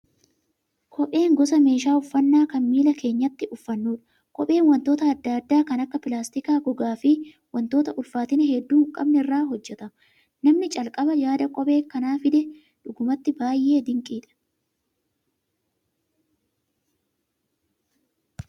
Kopheen gosa meeshaa uffannaa kan miila keenyatti uffannudha. Kopheen wantoota adda addaa kan akka pilaastikaa, gogaa fi wantoota ulfaatina hedduu hin qabnerraa hojjatama. Namni calqaba yaada kophee kana fide dhugumattuu baay'ee dinqiidha